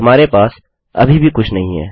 हमारे पास अभी भी कुछ नहीं है